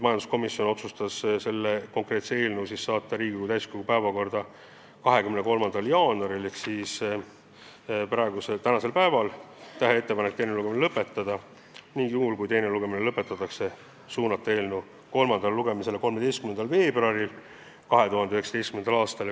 Majanduskomisjon otsustas selle eelnõu saata Riigikogu täiskogu päevakorda 23. jaanuariks ehk tänaseks päevaks, teha ettepaneku teine lugemine lõpetada ning juhul, kui teine lugemine lõpetatakse, suunata eelnõu kolmandale lugemisele 13. veebruaril 2019. aastal.